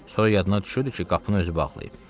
Sonra yadına düşürdü ki, qapını özü bağlayıb.